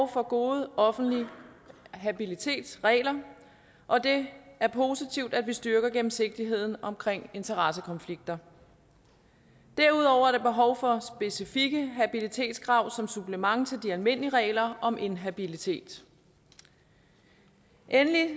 for gode offentlige habilitetsregler og det er positivt at vi styrker gennemsigtigheden omkring interessekonflikter derudover er der behov for specifikke habilitetskrav som supplement til de almindelige regler om inhabilitet endelig